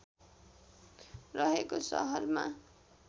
रहेको शहरमा